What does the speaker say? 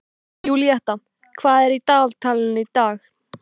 Júlíetta, hvað er í dagatalinu í dag?